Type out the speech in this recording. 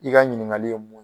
I ka ɲininkali ye mun